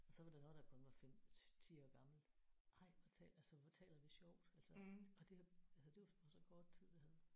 Og så var der noget der kun var 5 10 år gammelt ej hvor taler altså hvor taler vi sjovt altså og det altså det var på så kort tid iggå